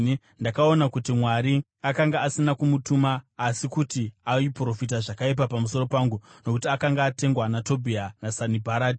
Ndakaona kuti Mwari akanga asina kumutuma asi kuti aiprofita zvakaipa pamusoro pangu nokuti akanga atengwa naTobhia naSanibharati.